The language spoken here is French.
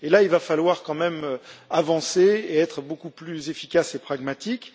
Il va falloir quand même avancer et être beaucoup plus efficaces et pragmatiques.